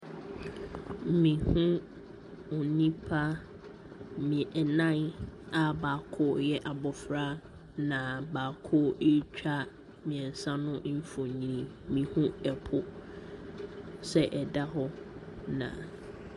Me hu onipa nnan aa baako yɛ abɔfra na baako ɛɛtwa mmiɛnsa no mfonini. Me hu ɛpo sɛ ɛda hɔ na.